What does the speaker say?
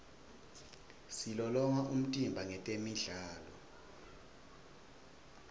silolonga umtimba ngetemidlalo